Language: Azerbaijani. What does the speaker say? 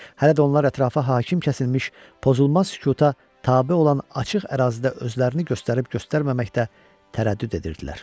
Hələ də onlar ətrafa hakim kəsilmiş, pozulmaz sükuta tabe olan açıq ərazidə özlərini göstərib-göstərməməkdə tərəddüd edirdilər.